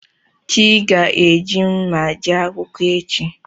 Chi gá eji mma jee akwụkwọ echi.